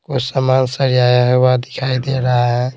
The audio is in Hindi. समान सजाया हुआ दिखाई दे रहा है।